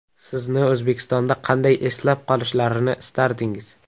Sizni O‘zbekistonda qanday eslab qolishlarini istardingiz?